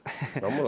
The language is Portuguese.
Vamos lá.